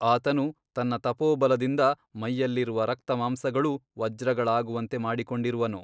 ಆತನು ತನ್ನ ತಪೋಬಲದಿಂದ ಮೈಯಲ್ಲಿರುವ ರಕ್ತಮಾಂಸಗಳೂ ವಜ್ರಗಳಾಗುವಂತೆ ಮಾಡಿಕೊಂಡಿರುವನು.